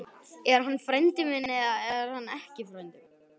Er hann frændi minn eða er hann ekki frændi minn?